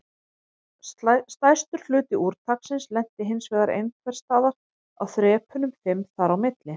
Stærstur hluti úrtaksins lenti hinsvegar einhvers staðar á þrepunum fimm þar á milli.